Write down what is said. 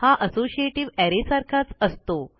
हा associative array सारखाच असतो